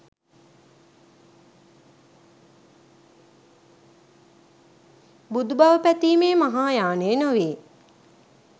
බුදු බව පැතීමේ මහායානය නොවේ